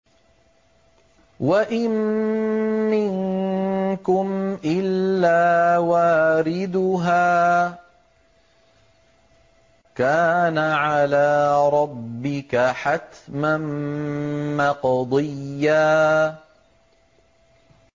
وَإِن مِّنكُمْ إِلَّا وَارِدُهَا ۚ كَانَ عَلَىٰ رَبِّكَ حَتْمًا مَّقْضِيًّا